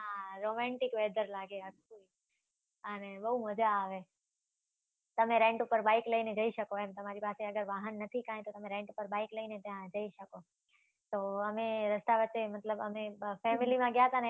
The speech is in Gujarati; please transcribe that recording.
હા, romantic weather લાગે, સાચુ. અને બવ મજા આવે. તમે rent ઉપર બાઈક લઈને જઈ શકો એમ. તમારી પાસે અગર વાહન નથી કાંઈ, તો તમે રેન્ટ ઉપર બાઈક લઈને ત્યાં જઈ શકો. તો અમે રસ્તા વચ્ચે મતલબ અમે, family માં ગ્યા તા ને,